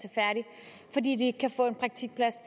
for de ikke kan få en praktikplads